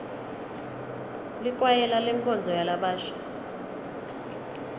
likwayela lenkonzo yalabasha